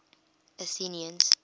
athenians